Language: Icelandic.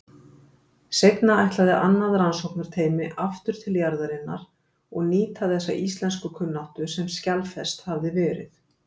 Seinna ætlaði annað rannsóknarteymi aftur til jarðarinnar og nýta þessa íslenskukunnáttu sem skjalfest hafði verið.